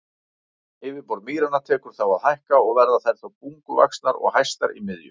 Yfirborð mýranna tekur þá að hækka og verða þær þá bunguvaxnar og hæstar í miðju.